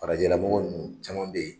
Farajɛlamɔgɔ nunnu caman bɛ yen